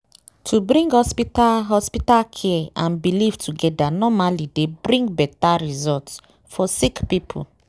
wait- to bring hospital hospital care and belief togeda normally dey bring beta result for sick poeple.